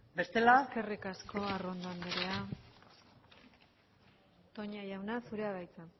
bestela eskerrik asko arrondo andrea toña jauna zurea da hitza